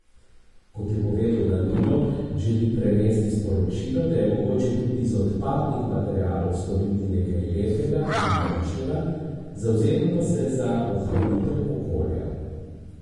Kot je povedal Danilo, želi prenesti sporočilo, da je mogoče tudi iz odpadnih materialov storiti nekaj lepega in močnega, zavzema pa se za ohranitev okolja.